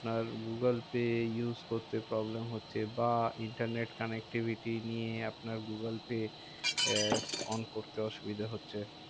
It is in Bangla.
আর গুগুলপে use করতে problem হচ্ছে? বা internet connectivity নিয়ে আপনার গুগুলপে on করতে অসুবিধা হচ্ছে?